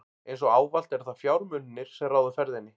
Eins og ávallt eru það fjármunirnir, sem ráða ferðinni.